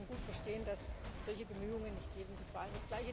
Ich kann gut verstehen, dass solche Bemühungen nicht jedem gefallen.